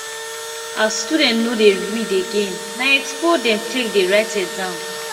as students no dey read again na expo dem take dey write exam